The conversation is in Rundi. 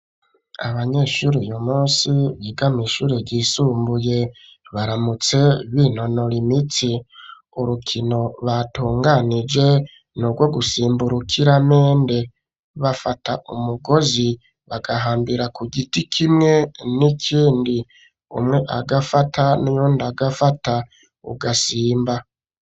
abanyeshuri yu munsi bigama ishure yisumbuye baramutse b'intono limiti urukino batunganije niubwo gusimburukira mende bafata umugozi bagahambira ku giti kimwe n'ikindi umwe agafata nundi agafata ugasimba